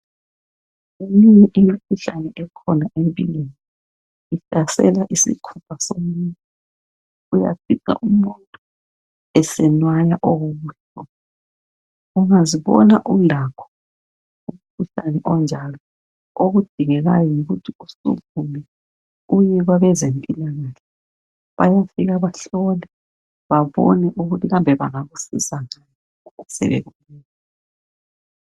Minengi imikhuhlane ekhona empilweni. Ihlasela isikhumba somuntu. Uyafica umuntu esenwaya okubuhlungu. Ungazibona ulakho umkhuhlane onjalo, okudingekayo yikuthi usukume uye kwabeze mpilakahle. Bayafika bahlole babone ukuthi kambe bangakusiza njani.